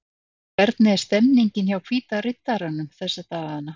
Hvernig er stemningin hjá Hvíta Riddaranum þessa dagana?